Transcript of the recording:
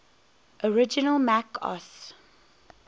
original mac os